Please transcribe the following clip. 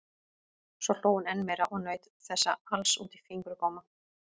Svo hló hún enn meira og naut þessa alls út í fingurgóma.